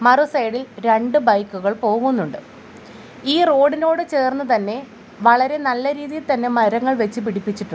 മറു സൈഡിൽ രണ്ട് ബൈക്കുകൾ പോകുന്നുണ്ട് ഈ റോഡിനോട് ചേർന്ന് തന്നെ വളരെ നല്ല രീതിയിൽ തന്നെ മരങ്ങൾ വെച്ച് പിടിപ്പിച്ചിട്ടുണ്ട്.